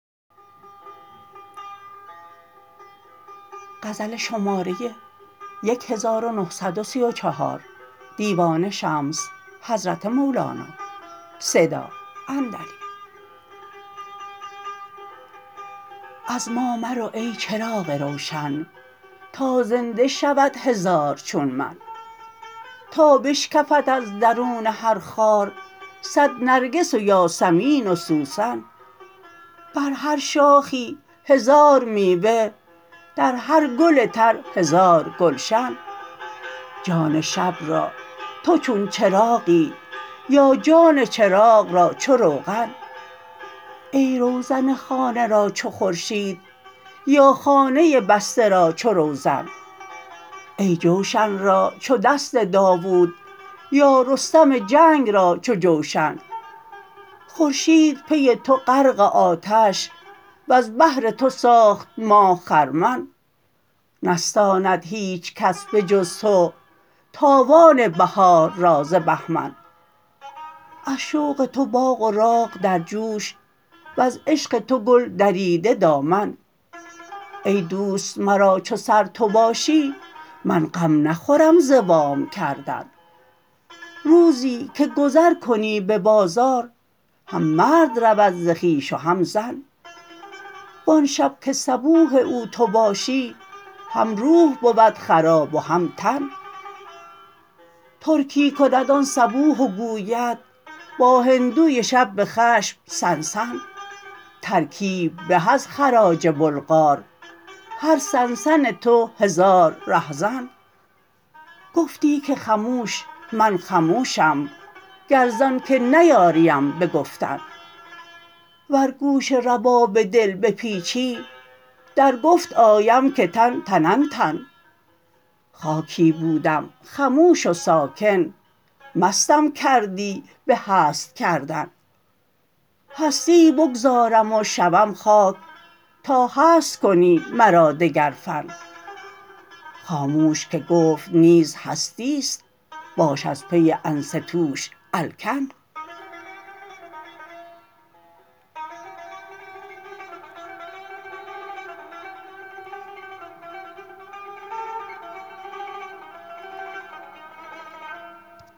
از ما مرو ای چراغ روشن تا زنده شود هزار چون من تا بشکفد از درون هر خار صد نرگس و یاسمین و سوسن بر هر شاخی هزار میوه در هر گل تر هزار گلشن جان شب را تو چون چراغی یا جان چراغ را چو روغن ای روزن خانه را چو خورشید یا خانه بسته را چو روزن ای جوشن را چو دست داوود یا رستم جنگ را چو جوشن خورشید پی تو غرق آتش وز بهر تو ساخت ماه خرمن نستاند هیچ کس به جز تو تاوان بهار را ز بهمن از شوق تو باغ و راغ در جوش وز عشق تو گل دریده دامن ای دوست مرا چو سر تو باشی من غم نخورم ز وام کردن روزی که گذر کنی به بازار هم مرد رود ز خویش و هم زن وان شب که صبوح او تو باشی هم روح بود خراب و هم تن ترکی کند آن صبوح و گوید با هندوی شب به خشم سن سن ترکیت به از خراج بلغار هر سن سن تو هزار رهزن گفتی که خموش من خموشم گر زانک نیاریم به گفتن ور گوش رباب دل بپیچی در گفت آیم که تن تنن تن خاکی بودم خموش و ساکن مستم کردی به هست کردن هستی بگذارم و شوم خاک تا هست کنی مرا دگر فن خاموش که گفت نیز هستی است باش از پی انصتواش الکن